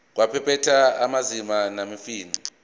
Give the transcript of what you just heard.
kwabaphethe ezamanzi nesifunda